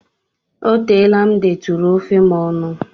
O teela m detụrụ ofe nne m ọnụ.